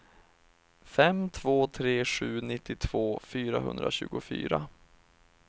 fem två tre sju nittiotvå fyrahundratjugofyra